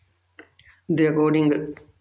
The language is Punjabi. ਦੇ according